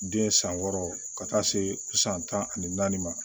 Den san wɔɔrɔ ka taa se san tan ani naani ma